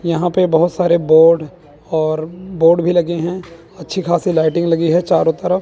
यहां पे बहोत सारे बोर्ड और बोर्ड भी लगे हैं अच्छी खासी लाइटिंग लगी है चारों तरफ--